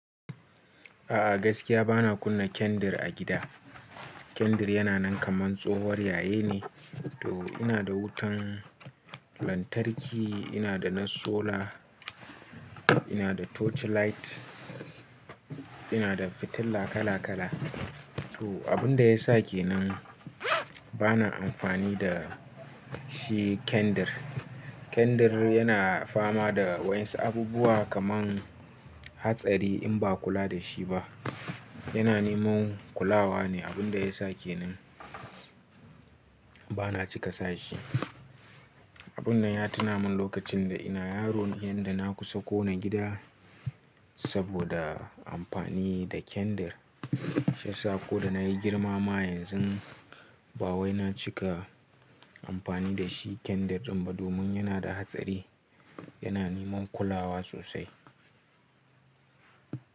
A'a gaskiya bana kunna kendir a gidan. Kendir yana nan kamar tsohon yaye ne. To ina da wutan lantarki, ina da na sola, ina da torch light, ina da fitila kala kala. To abin da ya sa ke nan bana amfani da shi kendir. Kendir yana fama da waɗansu abubuwa kamar hatsari in ba kula da shi ba. Yana niman kulawa ne abin da ya sa ke nan bana cika sa shi. Abun nan ya tuna min lokacin da ina yaron, inda na kusa kona gida saboda amfani da kendar. Shiyasa ko da na yi girmama yanzu ba wai na cika amfani da shi kendar ba domin yana da hatsari. Yana niman kulawa sosai.